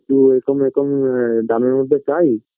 যে এরকম এরকম দামের মধ্যে চাই